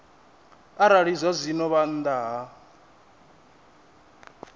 arali zwazwino vha nnḓa ha